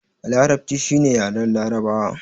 Larabci shi ne yaren larabawa